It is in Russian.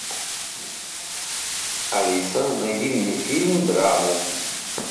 алиса найди мне фильм драму